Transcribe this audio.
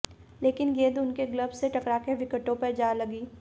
लेकिन गेंद उनके ग्लब्स से टकराकर विकेटों पर जा लगी